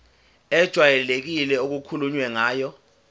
ejwayelekile okukhulunywe ngayo